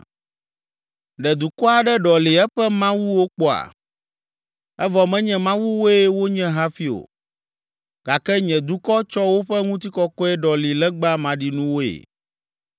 Ɖe dukɔ aɖe ɖɔli eƒe mawuwo kpɔa? Evɔ menye mawuwoe wonye hafi o; gake nye dukɔ tsɔ woƒe ŋutikɔkɔe ɖɔli legba maɖinuwoe.